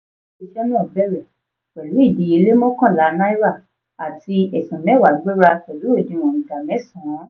ile-iṣẹ́ náà bèrè pẹ̀lú ìdíyelé mọ́kànlá náírà àti ẹ̀sún mẹwa gbéra pẹ̀lú òdìwọ̀n ìdá mẹ́san.